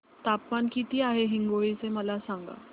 तापमान किती आहे हिंगोली चे मला सांगा